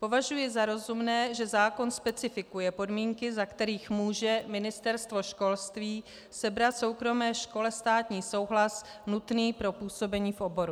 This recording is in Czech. Považuji za rozumné, že zákon specifikuje podmínky, za kterých může Ministerstvo školství sebrat soukromé škole státní souhlas nutný pro působení v oboru.